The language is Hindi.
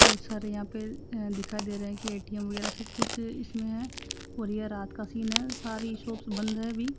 बहोत सारे यहां पे दिखाई दे रहा है कि ए_टी_एम वगैरा सब कुछ इसमें है और यह रात का सीन है सारी शोपस् बंद है अभी--